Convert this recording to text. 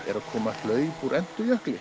eru að koma hlaup úr